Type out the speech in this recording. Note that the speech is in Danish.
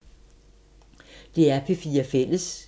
DR P4 Fælles